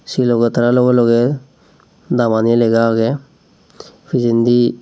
se loge tara loge loge damani lega age pijendi.